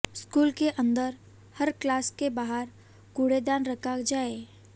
school के अंदर हर क्लास के बाहर कूड़ेदान रखा जाए